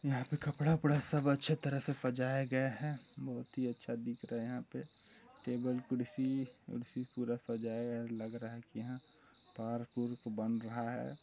यहाँ पर कपड़ा-वपड़ा सब अच्छे तरह से सजाया गया हैं बहुत ही अच्छा दिख रहा हैं यहाँ पे टेबल कुर्सी-उर्सी पूरा सजाया लग रहा हैं की इंहा पार्क उर्क बन रहा हैं।